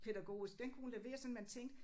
Pædagogisk den kunne hun levere sådan man tænkte